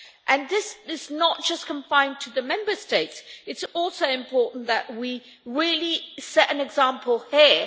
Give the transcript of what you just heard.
and this is not just confined to the Member States, it is also important that we really set an example here.